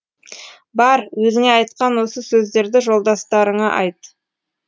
бар өзіңе айтқан осы сөздерді жолдастарыңа айт